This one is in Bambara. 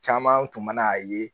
Caman tun mana a ye